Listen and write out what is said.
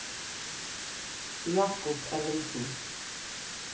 Jakob Ellingsen